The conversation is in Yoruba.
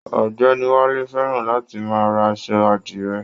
Ọ̀gbẹ́ni Wálé fẹràn láti máa rà aṣọ àdire